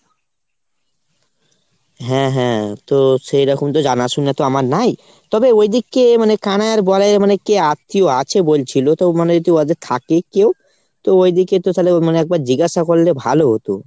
হ্যাঁ হ্যাঁ। তো সেরকম তো জানাশুনা তো আমার নাই। তবে ওইদিকে মানে কানাই বলাই এর কে আত্মীয় আছে বলছিলো। তো মানে যদি ওদের থাকে কেউ তো ওইদিকে তো তালে একবার জিগাসা করলে ভালো হতো।